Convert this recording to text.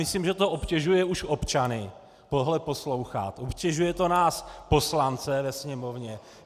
Myslím, že to obtěžuje už občany tohle poslouchat, obtěžuje to nás poslance ve Sněmovně.